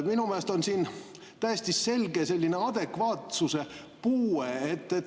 Minu meelest on siin täiesti selge adekvaatsuse puue.